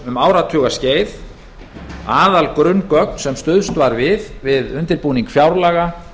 um áratugaskeið var stuðst við gögn frá þjóðhagsstofnun sem aðalgrunngögn við undirbúning fjárlaga